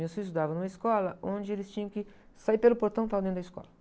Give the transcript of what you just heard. Meus filhos estudavam em uma escola onde eles tinham que sair pelo portão e estavam dentro da escola.